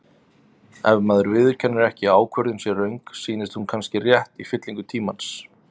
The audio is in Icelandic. Ef maður viðurkennir ekki að ákvörðun sé röng, sýnist hún kannski rétt í fyllingu tímans.